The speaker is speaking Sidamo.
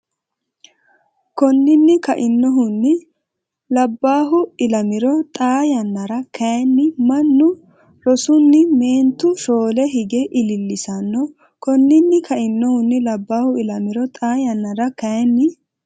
Konninni kainohunni labbaahu ilamiro Xaa yannara kayinni mannu rosunni meentu shoole hige ilillisanno Konninni kainohunni labbaahu ilamiro Xaa yannara kayinni.